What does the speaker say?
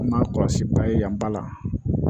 N'a kɔlɔsi ba ye yan ba la